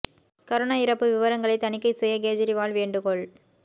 corona இறப்பு விவரங்களை தணிக்கை செய்ய கேஜரிவால் வேண்டுகோள்